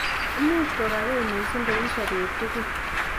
Imuche kogakei missing kou sobet tugul